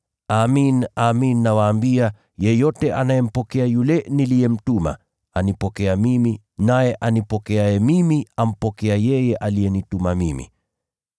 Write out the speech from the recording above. Amin, amin nawaambia, yeyote anayempokea yule niliyemtuma anipokea mimi, naye anipokeaye mimi ampokea yeye aliyenituma mimi.”